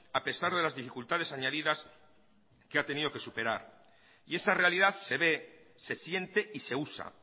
a pesar de las dificultades añadidas que ha tenido que superar y esa realidad se ve se siente y se usa